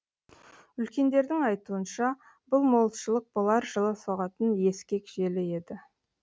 үлкендердің айтуынша бұл молшылық болар жылы соғатын ескек желі еді